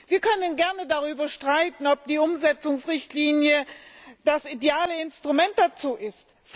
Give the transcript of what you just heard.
Wir können gerne darüber streiten, ob die Umsetzungsrichtlinie das ideale Instrument dazu ist.